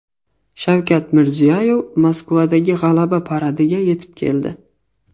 Shavkat Mirziyoyev Moskvadagi G‘alaba paradiga yetib keldi.